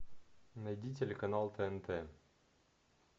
найди телеканал тнт